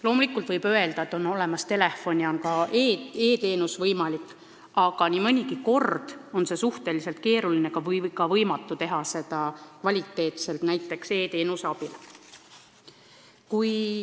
Loomulikult võib öelda, et on olemas telefon ja on ka e-teenus võimalik, aga nii mõnigi kord on suhteliselt keeruline või ka võimatu saada head nõu e-kirja abil.